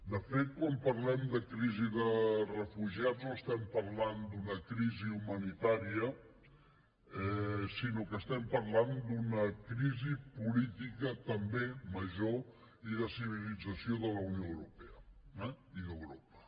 de fet quan parlem de crisi de refugiats no estem parlant d’una crisi humanitària sinó que estem parlant d’una crisi política també major i de civilització de la unió europea eh i d’europa